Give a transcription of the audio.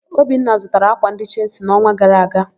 Obinna zụtara ákwà ndị Chelsi n'ọnwa gara aga.